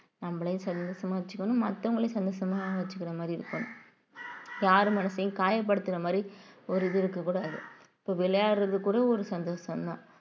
நம்மளயும் சந்தோஷமா வச்சுக்கணும் மத்தவங்களையும் சந்தோஷமா வச்சுக்கிற மாதிரி இருக்கும் யார் மனசையும் காயப்படுத்துற மாதிரி ஒரு இது இருக்கக் கூடாது இப்போ விளையாடுறது கூட ஒரு சந்தோஷம்தான்